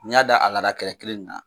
N'i y'a da a lada kɛrɛ kelen in kan